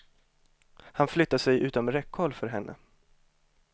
Han flyttade sig utom räckhåll för henne.